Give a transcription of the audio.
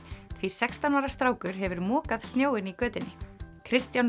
því sextán ára strákur hefur mokað snjóinn í götunni Kristján